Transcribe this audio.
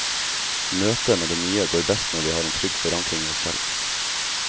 Møtet med det nye går best når vi har en trygg forankring i oss selv.